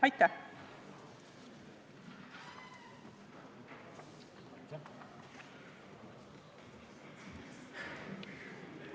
Aitäh!